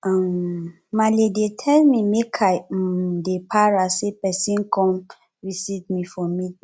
um maale dey tell me make i um dey para sey person come visit me for